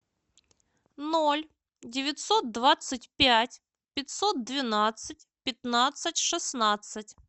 ноль девятьсот двадцать пять пятьсот двенадцать пятнадцать шестнадцать